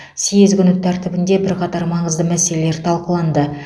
съез күн тәртібінде бірқатар маңызды мәселелер талқыланды